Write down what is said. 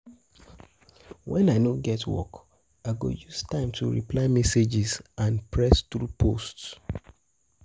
When I no get get work, I go use time to reply messages and press through posts.